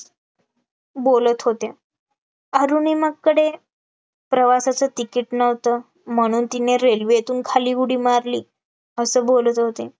बोलत होत्या, आरुणीमाकडे प्रवासाचं तिकीट नव्हतं, म्हणून तिने railway तून खाली उडी मारली, असं बोलत होते